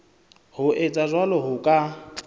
ho etsa jwalo ho ka